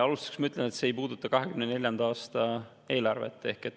Alustuseks ma ütlen, et see ei puuduta 2024. aasta eelarvet.